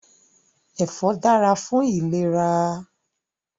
Ẹfọ dára fún ìlera